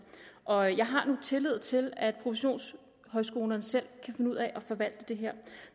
og jeg har tillid til at professionshøjskolerne selv kan finde ud af at forvalte det her